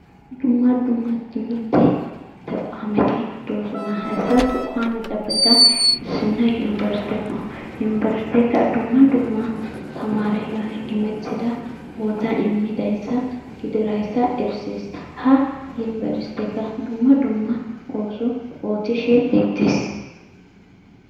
Dumma dumma timirtte tequwametti doosona. Hayssa tequwameppekka issinoy yunivestekko dumma dumma tamareyoo imettida bootaa imidayssa gididayssa erisees. Ha yuniveseekka dumma dumma ooso oottishe beettees.